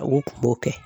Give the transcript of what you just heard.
U kun b'o kɛ